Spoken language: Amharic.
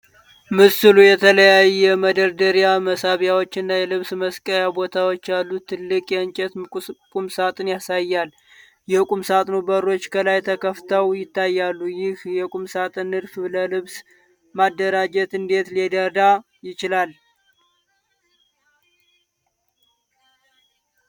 ምስሉ የተለያየ መደርደሪያ፣ መሳቢያዎች እና የልብስ መስቀያ ቦታዎች ያሉት ትልቅ የእንጨት ቁምሳጥን ያሳያል። የቁምሳጥኑ በሮች ከላይ ተከፍተው ይታያሉ። ይህ የቁምሳጥን ንድፍ ለልብስ ማደራጀት እንዴት ሊረዳ ይችላል?